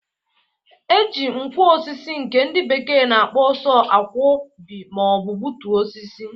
E ji nkwọ osisi nke ndị bekee na-akpo sọ a kwọbị ma ọ bụ gbụtue osisi.